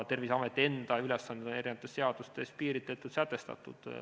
Terviseameti enda ülesanded on eri seadustes piiritletud ja sätestatud.